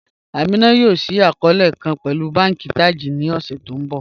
Amina yóò ṣíí akọọlẹ̀ kàn pẹ̀lú bànki Taj ní ọṣẹ̀ tí n bọ